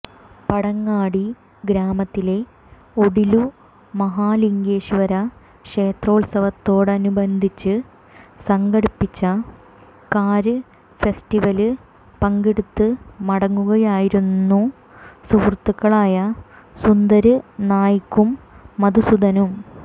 പടങ്ങാടി ഗ്രാമത്തിലെ ഒഡീലു മഹാലിംഗേശ്വര ക്ഷേത്രോത്സവത്തോടനുബന്ധിച്ച് സംഘടിപ്പിച്ച കാര് ഫെസ്റ്റിവലില് പങ്കെടുത്ത് മടങ്ങുകയായിരുന്നു സുഹൃത്തുക്കളായ സുന്ദര് നായിക്കും മധുസൂദനും